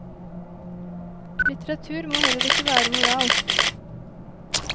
Litteratur må heller ikke være moralsk.